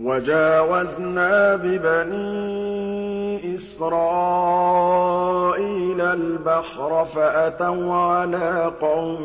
وَجَاوَزْنَا بِبَنِي إِسْرَائِيلَ الْبَحْرَ فَأَتَوْا عَلَىٰ قَوْمٍ